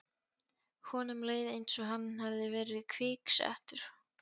Honum leið einsog hann hefði verið kviksettur.